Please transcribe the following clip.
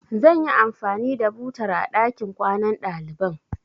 Zan yi anfani da butar a ɗakin kwanan ɗaliban.